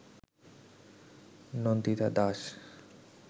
Nandita Das